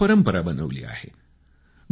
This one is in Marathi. आणि एक परंपरा बनवली आहे